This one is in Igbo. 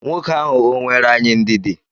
Nwoke ahụ o nweere anyị ndidi?